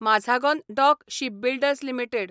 Mazagon dock shipbuilders limited